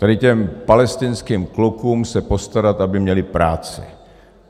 Tady těm palestinským klukům se postarat, aby měli práci.